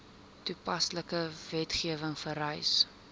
toepaslike wetgewing vereis